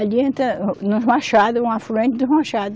Ele entra no, nos Machado, um afluente dos Machado.